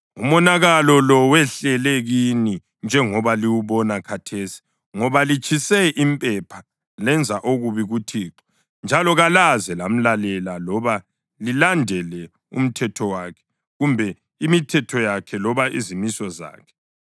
Umonakalo lo wehlele kini njengoba liwubona khathesi ngoba litshise impepha lenza okubi kuThixo njalo kalaze lamlalela loba lilandele umthetho wakhe kumbe imithetho yakhe loba izimiso zakhe.”